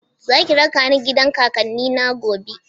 Za ki raka ni gidan kakanni na gobe?